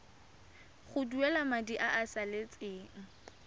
duela madi a a salatseng